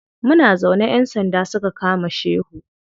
Muna zaune ƴan sanda suka kama shehu.